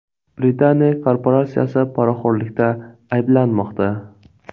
Britaniya korporatsiyasi poraxo‘rlikda ayblanmoqda.